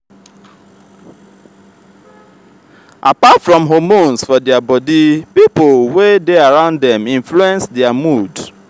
apart from hormones for for their body pipo wey de around dem influence their mood